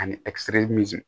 Ani